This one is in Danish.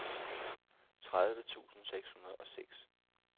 tredive tusind seks hundrede og seks